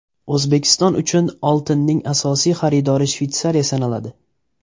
O‘zbekiston uchun oltinning asosiy xaridori Shveysariya sanaladi.